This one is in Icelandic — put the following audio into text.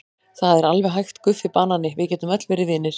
Það er alveg hægt Guffi banani, við getum öll verið vinir.